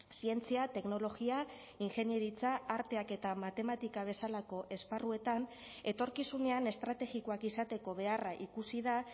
zientzia teknologia ingeniaritza arteak eta matematika bezalako esparruetan etorkizunean estrategikoak izateko beharra ikusi da